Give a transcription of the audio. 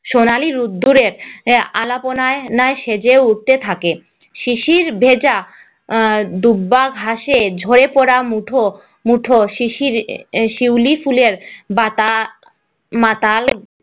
সোনালি রোদ্দুরের আআলপনায় সেজে উঠতে থাকে শিশির ভেজা আহ দূর্বা ঘাসে ঝরে পড়া মুঠো মুঠো শিশির শিউলি ফুলের বাতা মাতাল